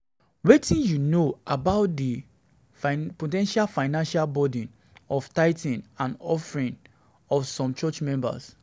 Wetin you know about di know about di po ten tial financial burden of tithing and offerings on some church members?